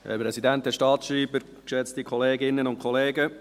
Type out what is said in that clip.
Sprecher des Büros des Grossen Rates.